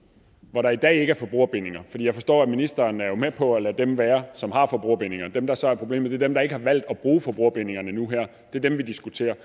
hvor der i dag ikke er forbrugerbindinger for jeg forstår at ministeren jo er med på at lade dem være som har forbrugerbindinger dem der så er problemet er dem der ikke har valgt at bruge forbrugerbindingerne nu her det er dem vi diskuterer